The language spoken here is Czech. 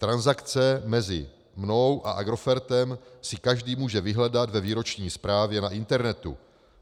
Transakce mezi mnou a Agrofertem si každý může vyhledat ve výroční zprávě na internetu.